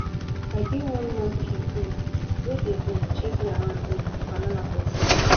i give one monkey um wey dey um chase me around um banana for zoo